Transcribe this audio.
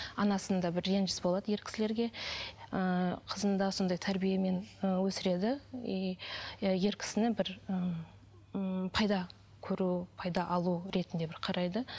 анасында бір реніш болады ер кісілерге ыыы қызын да сондай тәрбиемен ы өсіреді и иә ер кісіні бір ммм пайда көру пайда алу ретінде бір қарайды